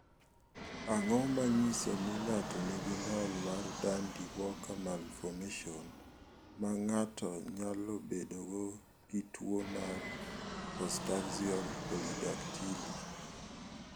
Ang�o ma nyiso ni ng�ato nigi ng'ol mar Dandy Walker malformation ma ng�ato nyalo bedogo gi tuo mar postaxial polydactyly?